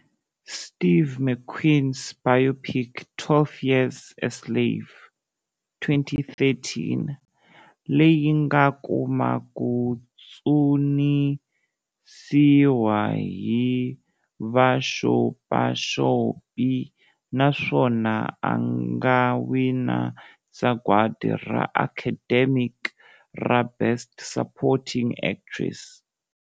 Steve McQueen's biopic"12 Years a Slave",2013, leyi a nga kuma ku dzunisiwa hi vaxopaxopi naswona a nga wina Sagwadi ra Academic ra Best Supporting Actress.